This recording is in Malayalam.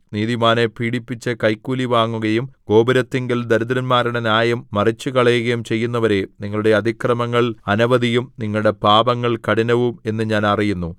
നീതിമാനെ പീഡിപ്പിച്ച് കൈക്കൂലി വാങ്ങുകയും ഗോപുരത്തിങ്കൽ ദരിദ്രന്മാരുടെ ന്യായം മറിച്ചുകളയുകയും ചെയ്യുന്നവരേ നിങ്ങളുടെ അതിക്രമങ്ങൾ അനവധിയും നിങ്ങളുടെ പാപങ്ങൾ കഠിനവും എന്ന് ഞാൻ അറിയുന്നു